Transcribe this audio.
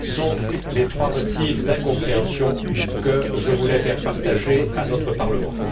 Tels sont les trois motifs d'incompréhension que je voulais partager avec notre Parlement.